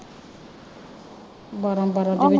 ਬਾਰਾਂ ਬਾਰਾਂ ਦੇ ਵਿਚ।